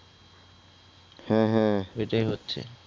হ্যা হ্যা । এইটাই হচ্ছে